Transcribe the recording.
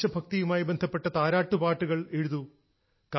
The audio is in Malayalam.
ദേശഭക്തിയുമായി ബന്ധപ്പെട്ട താരാട്ടുപാട്ടുകൾ എഴുതൂ